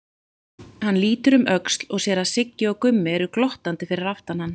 Hann lítur um öxl og sér að Siggi og Gummi eru glottandi fyrir aftan hann.